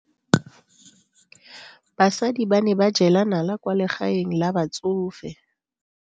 Basadi ba ne ba jela nala kwaa legaeng la batsofe.